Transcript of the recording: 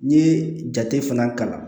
N'i ye jate fana kalan